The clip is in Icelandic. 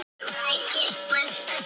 Það var það og það var þannig.